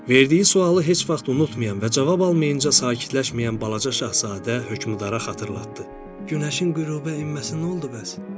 Verdiyi sualı heç vaxt unutmayan və cavab almayınca sakitləşməyən balaca şahzadə hökmdara xatırlatdı: Günəşin qürubə enməsi nə oldu bəs?